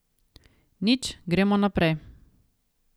Nič, gremo naprej.